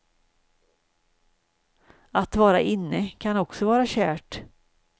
Att vara inne kan också vara kärt.